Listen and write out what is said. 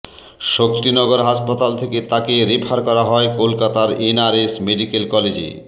শক্তিনগর হাসপাতাল থেকে তাকে রেফার করা হয় কলকাতার এন আর এস মেডিক্যাল কলেজে